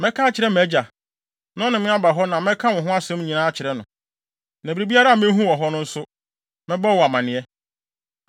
Mɛka akyerɛ mʼagya, na ɔne me aba hɔ na mɛka wo ho asɛm nyinaa akyerɛ no. Na biribiara a mehu wɔ hɔ no nso, mɛbɔ wo amanneɛ.”